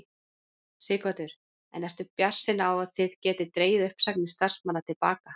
Sighvatur: En ertu bjartsýnn á að þið getið dregið uppsagnir starfsmanna til baka?